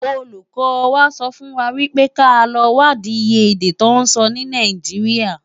Ólúkò wá sòfúnwá wipé ká lò wádi iyé èdè tò nsò ni Náijiriá